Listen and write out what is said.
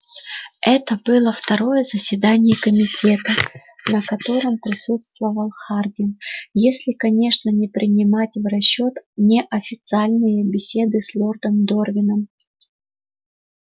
это было второе заседание комитета на котором присутствовал хардин если конечно не принимать в расчёт неофициальные беседы с лордом дорвином